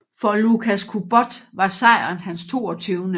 For Łukasz Kubot var sejren hans 22